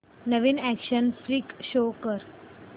नवीन action flick show कर